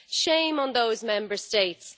Shame on those Member States!